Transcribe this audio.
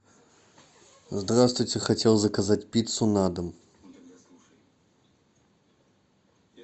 здравствуйте хотел заказать пиццу на дом